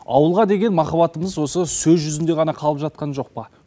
ауылға деген махаббатымыз сөз жүзінде ғана қалып жатқан жоқ па